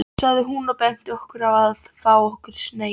sagði hún og benti okkur á að fá okkur sneið.